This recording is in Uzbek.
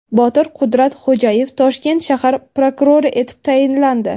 Botir Qudratxo‘jayev Toshkent shahar prokurori etib tayinlandi.